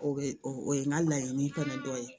O bɛ o ye n ka laɲini kɔni dɔ ye